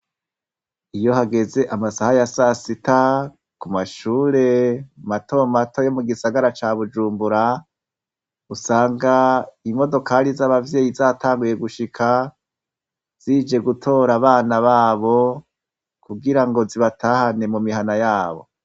Iyo hageze amasaha ya sasita, kumashure matomato yo mugisagara ca bujumbura, usanga imodokari z'abavyeyi zatanguye gushika, zije gutora abana babo kugira zibatahukane mu mihana yabo.